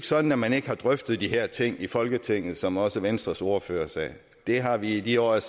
sådan at man ikke har drøftet de her ting i folketinget som også venstres ordfører sagde det har vi i de år jeg